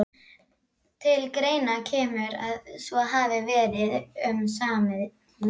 Til greina kemur, að svo hafi verið um samið milli